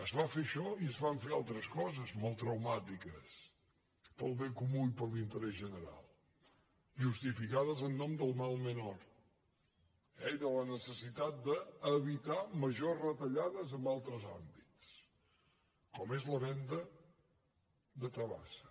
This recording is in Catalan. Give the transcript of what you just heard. es va fer això i es van fer altres coses molt traumàtiques pel bé comú i per l’interès general justificades en nom del mal menor eh i de la necessitat d’evitar majors retallades en altres àmbits com és la venda de tabasa